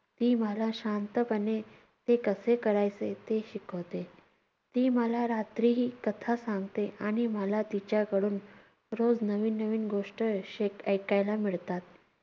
ती मला शांतपणे ते कसे करायचे ते शिकवते. ती मला रात्रीही कथा सांगते आणि मला तिच्याकडून रोज नवीन नवीन गोष्ट शेक~ ऐकायला मिळतात.